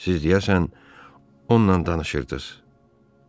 Siz deyəsən ondan danışırdız.